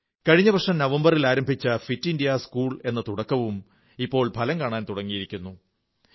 കഴിഞ്ഞ വർഷം നവംബറിൽ ആരംഭിച്ച ഫിറ്റ് ഇന്ത്യാ സ്കൂൾ എന്ന തുടക്കവും ഇപ്പോൾ ഫലം കാണാൻ തുടങ്ങിയിരിക്കുന്നു